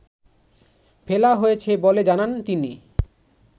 ফেলা হয়েছে বলে জানান তিনি